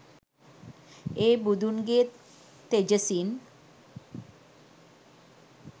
ඒ බුදුන්ගේ තෙජසින්